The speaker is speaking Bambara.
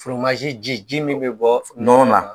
ji ji min bɛ bɔ nɔnɔ na